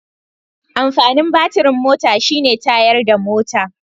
Amfanin batirin mota shi ne tayarda mota